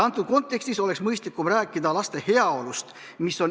Antud kontekstis oleks mõistlikum rääkida laste heaolust .